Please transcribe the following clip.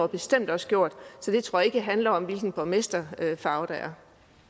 bestemt også gjort så jeg tror ikke at det handler om hvilken borgmesterfarve der er